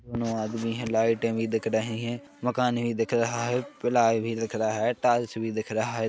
कोनो आदमी है लाइटे भी दिख रही है मकाने भी दिख रहा है प्लाय भी दिख रहा है टाइल्स भी दिख रहा है।